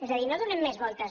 és a dir no hi donem més voltes